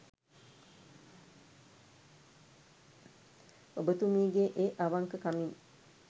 ඔබතුමීගේ ඒ අවංක කමින්